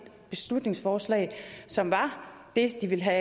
beslutningsforslag som var det de ville have